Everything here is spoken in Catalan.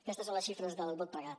aquestes són les xifres del vot pregat